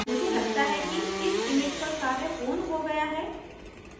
मुझे लगता है कि इस image पर कार्य पूर्ण हो गया है